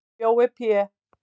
Jói Pé